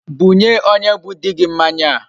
Bunye onye bu di gi mmanya a